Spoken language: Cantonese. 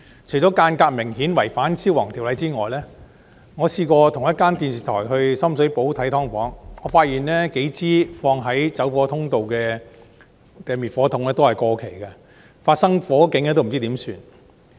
除了間隔明顯違反《消防安全條例》之外，我曾與一間電視台到深水埗視察"劏房"，發現放置於走火通道的數支滅火筒都是過期的，發生火警時不知怎辦。